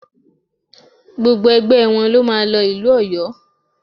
Gbogbo ẹgbẹ wọn ló máa lọ ìlú Ọ̀yó